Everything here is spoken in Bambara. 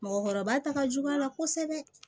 Mɔgɔkɔrɔba ta ka jugu a la kosɛbɛ